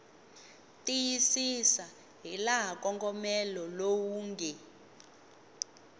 tiyisisa hilaha nkongomelo lowu nge